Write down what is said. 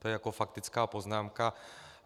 To je jako faktická poznámka.